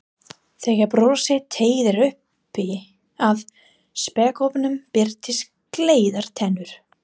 Þegar brosið teygðist upp að spékoppunum birtust gleiðar tennur.